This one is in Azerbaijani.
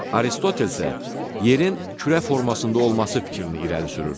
Aristotel isə yerin kürə formasında olması fikrini irəli sürürdü.